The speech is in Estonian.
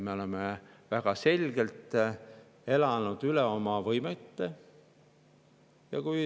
Me oleme elanud üle oma võimete.